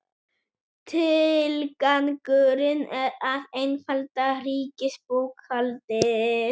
Tilgangurinn er að einfalda ríkisbókhaldið